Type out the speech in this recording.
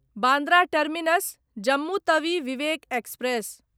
Bandra terminus Jammu Tawi Vivek express